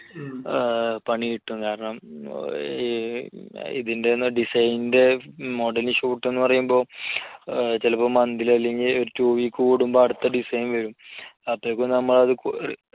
പണി കിട്ടും. കാരണം ഏർ ഇതിന്റെ ഒന്നും design ന്റെ model shoot എന്നു പറയുമ്പോൾ ഏർ ചിലപ്പോൾ monthly അല്ലെങ്കിൽ ഒരു two week കൂടുമ്പോൾ അടുത്ത design വരും. അപ്പോഴേയ്ക്കും നമ്മൾ അത്